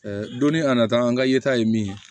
donni a nata an ka yeta ye min ye